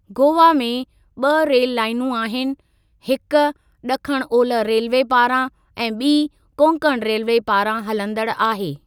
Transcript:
गोवा में ब॒ रेल लाइनूं आहिनि, हिकु ड॒खिण ओलह रेलवे पारां ऐं बी॒ कोंकण रेलवे पारां हलंदड़ु आहे।